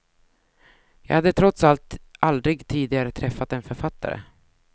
Jag hade trots allt aldrig tidigare träffat en författare.